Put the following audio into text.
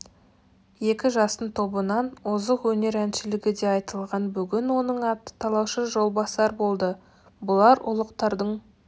екі жастың тобынан озық өнер әншілігі де айтылған бүгін оның аты талаушы жолбасар болды бұлар ұлықтардың